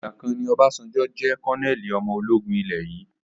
Ìgbàkan ni Obasanjo jẹ́ kọnẹ́ẹ́lì ọmọ ológun ilé yìí